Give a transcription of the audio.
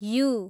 you